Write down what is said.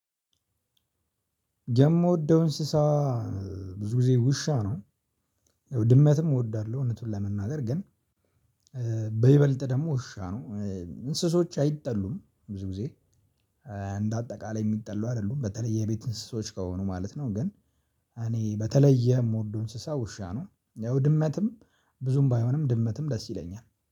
የምወደው እንስሳ ብዙ ጊዜ ውሻ ነው። ድመትም እወዳለሁ እውነቱን ለመናገር ግን በይበልጥ ደግሞ ውሻ ነው። እንስሶች አይጠሉም ብዙ ጊዜ እንደ አጠቃላይ የሚጠሉ አይደሉም በተለይ የቤት እንስሳዎች ከሆኑ ማለት ነው። ግን እኔ በተለየ የምወደው እንስሳ ውሻ ነው። ያው ድመትም ብዙም ባይሆንም ድመትም ደስ ይለኛል።